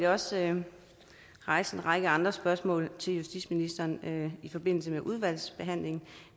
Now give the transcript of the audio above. også rejse en række andre spørgsmål til justitsministeren i forbindelse med udvalgsbehandlingen